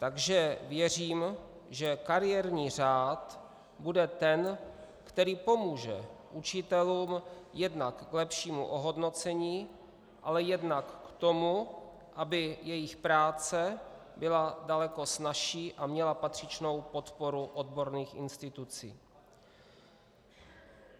Takže věřím, že kariérní řád bude ten, který pomůže učitelům jednak k lepšímu ohodnocení, ale jednak k tomu, aby jejich práce byla daleko snazší a měla patřičnou podporu odborných institucí.